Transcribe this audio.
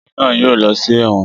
Ọkùnrin náà yóò lọ sí ẹ̀wọ̀n